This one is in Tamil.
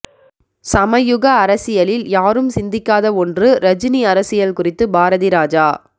சமயுக அரசியலில் யாரும் சிந்திக்காத ஒன்று ரஜினி அரசியல் குறித்து பாரதிராஜா